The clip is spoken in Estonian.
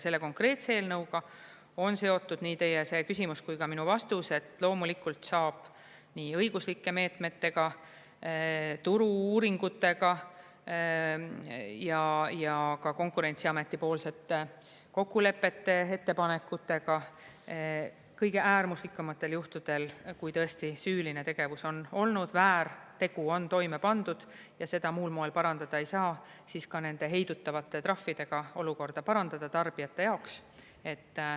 Selle konkreetse eelnõuga on seotud nii teie küsimus kui ka minu vastus, et loomulikult saab nii õiguslike meetmetega, turu-uuringutega ja ka Konkurentsiameti-poolsete kokkulepete, ettepanekutega kõige äärmuslikumatel juhtudel, kui tõesti süüline tegevus on olnud, väärtegu on toime pandud ja seda muul moel parandada ei saa, siis ka nende heidutavate trahvidega olukorda parandada tarbijate jaoks.